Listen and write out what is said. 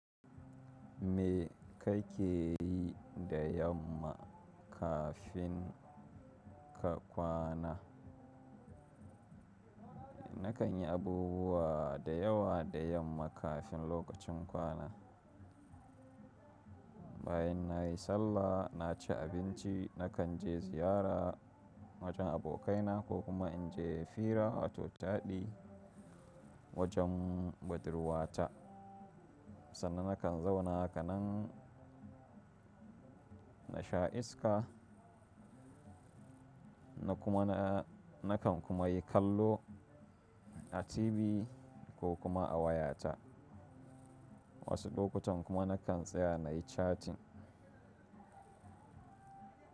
Me kake yi da yamma kafin ka kwana? Nakan yi abubuwa da yawa da yamma kafin lokacin kwana. Bayan na yi sallah, na ci abinci, nakan je ziyara wajen abokaina ko kuma in je fira wato taɗi wajen budurwata. Sannan nakan zauna haka nan na sha iska na kuma na nakan kuma yi kallo a TV ko kuma a wayata. Wasu lokutan kuma nakan tsaya na yi chatting.